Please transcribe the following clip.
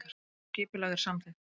Allt skipulag er samþykkt